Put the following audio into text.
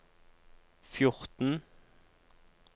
fjorten